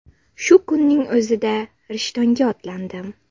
Shu kunning o‘zida Rishtonga otlandim.